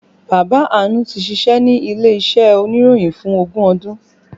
Bàbá Àánú tí ṣíṣe ní ilé iṣẹ́ oníròyìn fún ogún ọdún